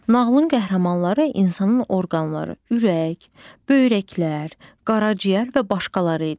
Nağılın qəhrəmanları insanın orqanları: ürək, böyrəklər, qaraciyər və başqaları idi.